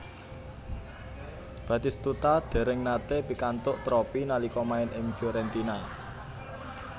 Batistuta dereng nate pikantuk tropi nalika main ing Fiorentina